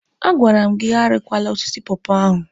A gwara m gị arikwala osisi pọọpọọ ahụ!